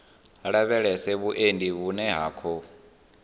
lavhelesa vhuendi vhune ha khou